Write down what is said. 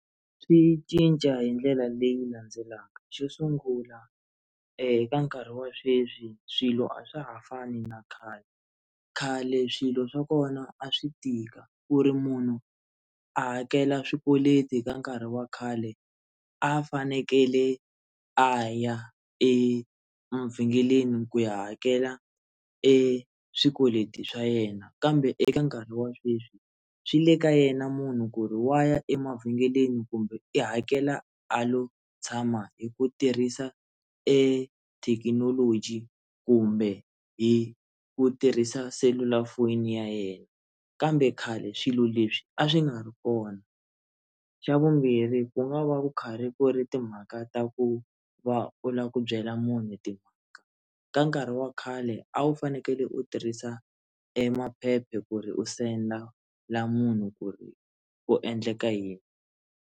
Swi cinca hi ndlela leyi landzelaka xo sungula eka nkarhi wa sweswi swilo a swa ha fani na khale khale swilo swa kona a swi tika ku ri munhu a hakela swikweleti ka nkarhi wa khale a fanekele a ya emavhengeleni ku ya hakela eswikweleti swa yena kambe eka nkarhi wa sweswi swi le ka yena munhu ku ri wa ya emavhengeleni kumbe i hakela a lo tshama hi ku tirhisa ethekinoloji kumbe hi ku tirhisa selulafoni ya yena kambe khale swilo leswi a swi nga ri kona xa vumbirhi ku nga va ku khari ku ri timhaka ta ku va u lava ku byela munhu timhaka ka nkarhi wa khale a wu fanekele u tirhisa emaphephe ku ri u sendela munhu ku ri ku endleka yini.